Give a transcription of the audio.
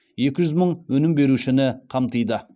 екі жүз мың өнім берушіні қамтиды